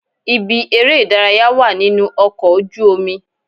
Ibi eré ìdárayá wà nínú ọkọ̀ ojú omi.